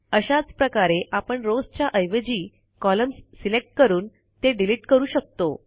अशाच प्रकारे आपण रॉव्स च्या ऐवजी कॉलम्स सिलेक्ट करून ते डिलिट करू शकतो